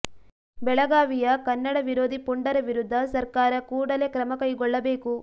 ಬೆಳಗಾವಿಯ ಕನ್ನಡ ವಿರೋಧಿ ಪುಂಡರ ವಿರುದ್ಧ ಸರ್ಕಾರ ಕೂಡಲೇ ಕ್ರಮ ಕೈಗೊಳ್ಳಬೇಕು